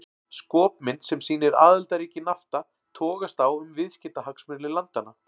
Skopmynd sem sýnir aðildarríki Nafta togast á um viðskiptahagsmuni landanna.